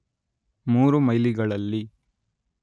ಮೂರು ಮೈಲಿ‍ಗಳಲ್ಲಿ